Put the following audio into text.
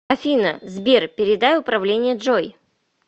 афина сбер передай управление джой